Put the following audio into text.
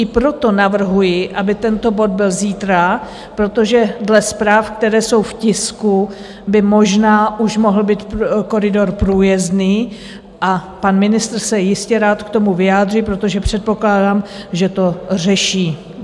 I proto navrhuji, aby tento bod byl zítra, protože dle zpráv, které jsou v tisku, by možná už mohl být koridor průjezdný, a pan ministr se jistě rád k tomu vyjádří, protože předpokládám, že to řeší.